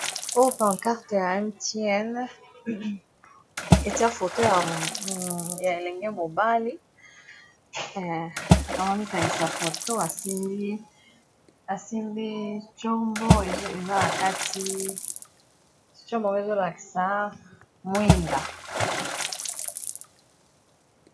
Oyo Pante carte ya Mtn etia foto ya elenge mobali aza komikangisa foto asimbi, asimbi tshombo eza na kati tshombo ango ezolakisa mwinda.